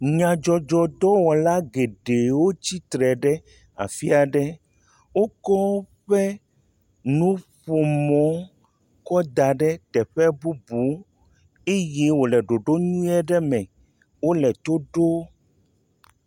Nyadzɔdzɔdɔwɔla geɖe wotsitre ɖe afi aɖe. Wokɔ woƒe nuƒomɔ kɔ da ɖe teƒe bubu eye wole ɖoɖo nyuie aɖe me. Wole to ɖom